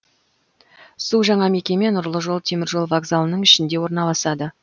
су жаңа мекеме нұрлы жол теміржол вокзалының ішінде орналасады